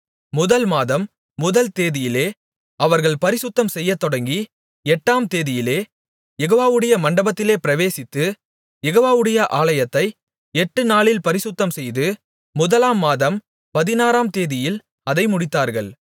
முதல் மாதம் முதல் தேதியிலே அவர்கள் பரிசுத்தம் செய்யத்தொடங்கி எட்டாம் தேதியிலே யெகோவாவுடைய மண்டபத்திலே பிரவேசித்து யெகோவாவுடைய ஆலயத்தை எட்டுநாளில் பரிசுத்தம்செய்து முதலாம் மாதம் பதினாறாம் தேதியில் அதை முடித்தார்கள்